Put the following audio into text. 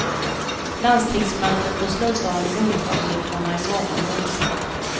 Landstingsmötet beslutar om lunchavgifterna i morgon, onsdag.